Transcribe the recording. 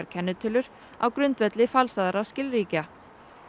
kennitölur á grundvelli falsaðra skilríkja